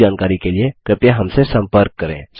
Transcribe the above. अधिक जानकारी के लिए कृपया हमसे सम्पर्क करें